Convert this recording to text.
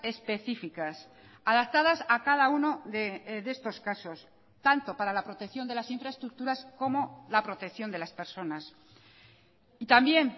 específicas adaptadas a cada uno de estos casos tanto para la protección de las infraestructuras como la protección de las personas y también